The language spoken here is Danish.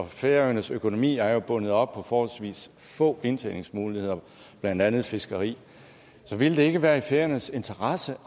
færøernes økonomi er jo bundet op på forholdsvis få indtjeningsmuligheder blandt andet fiskeri så ville det ikke være i færingernes interesse